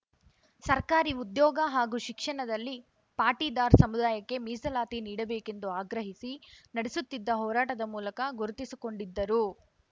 ಸರ್ಕಾರಿ ಉದ್ಯೋಗ ಹಾಗೂ ಶಿಕ್ಷಣದಲ್ಲಿ ಪಾಟೀದಾರ್ ಸಮುದಾಯಕ್ಕೆ ಮೀಸಲಾತಿ ನೀಡಬೇಕೆಂದು ಆಗ್ರಹಿಸಿ ನಡೆಸುತ್ತಿದ್ದ ಹೋರಾಟದ ಮೂಲಕ ಗುರುತಿಸಿಕೊಂಡಿದ್ದರು